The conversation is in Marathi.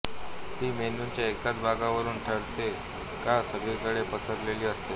ती मेंदूच्या एकाच भागावरून ठरते का सगळीकडे पसरलेली असते